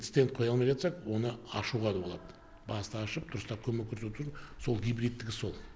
стэнд қоя алмай жатсақ оны ашуға да болады басты ашып дұрыстап көмек көрсету сол гибридтігі сол